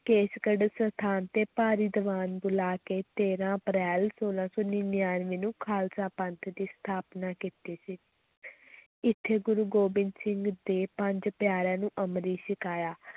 ਕੇਸਗੜ੍ਹ ਸਥਾਨ 'ਤੇ ਭਾਰੀ ਦੀਵਾਨ ਬੁਲਾ ਕੇ ਤੇਰਾਂ ਅਪ੍ਰੈਲ ਛੋਲਾਂ ਸੌ ਨੜ੍ਹਿਨਵੇਂ ਨੂੰ ਖ਼ਾਲਸਾ ਪੰਥ ਦੀ ਸਥਾਪਨਾ ਕੀਤੀ ਸੀ ਇੱਥੇ ਗੁਰੂ ਗੋਬਿੰਦ ਸਿੰਘ ਦੇ ਪੰਜ ਪਿਆਰਿਆਂ ਨੂੰ ਅੰਮ੍ਰਿਤ ਛਕਾਇਆ।